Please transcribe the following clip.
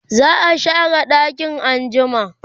za'a share ɗakin anjima